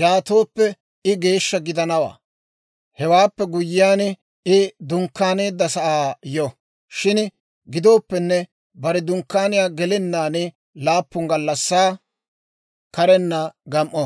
yaatooppe I geeshsha gidanawaa. Hewaappe guyyiyaan, I dunkkaaneedda sa'aa yo; shin gidooppenne bare dunkkaaniyaa gelennaan laappun gallassaa karenna gam"o.